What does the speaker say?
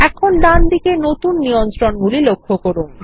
এখন ডানদিকে নতুন নিয়ন্ত্রণগুলি লক্ষ্য করুন